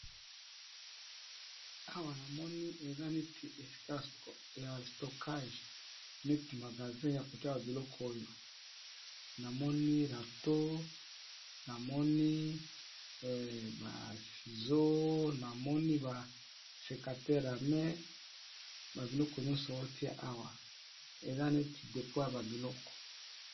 Awa , namoni eza neti esika ya stockage neti magazin ya kotia ba biloko oyo ! namoni rato, namoni ba sizo ,namoni ba sekatere à main, babiloko nyonso otiya awa ! eza neti dépôt ya ba biloko.